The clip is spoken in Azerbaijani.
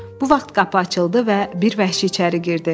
Bu vaxt qapı açıldı və bir vəhşi içəri girdi.